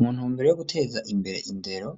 Muntumbere yo guteza imbere indero